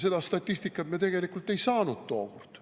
Seda statistikat me tegelikult ei saanud tookord.